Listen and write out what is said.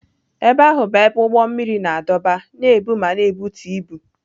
Ebe ahụ bụ ebe ụgbọ mmiri na-adọba, na-ebu ma na-ebutu ibu.